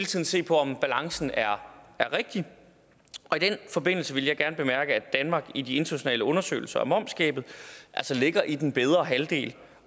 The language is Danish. tiden se på om balancen er rigtig og i den forbindelse vil jeg gerne bemærke at danmark i de internationale undersøgelser om momsgabet altså ligger i den bedre halvdel